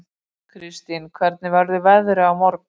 Kirstín, hvernig verður veðrið á morgun?